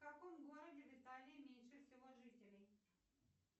в каком городе в италии меньше всего жителей